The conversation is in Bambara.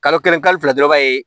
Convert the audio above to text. Kalo kelen kalo fila dɔrɔn b'a ye